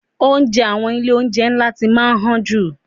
Oúnjẹ àwọn ilé oúnjẹ ńlá ti máa ń han jù.